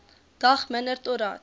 dag minder totdat